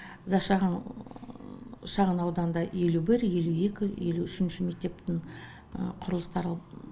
зашаған шағын ауданында елу бір елу екі елу үшінші мектептің құрылыстары